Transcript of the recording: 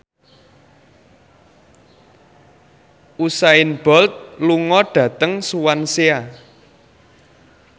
Usain Bolt lunga dhateng Swansea